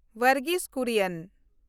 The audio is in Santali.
ᱵᱚᱨᱜᱤᱥ ᱠᱩᱨᱤᱭᱚᱱ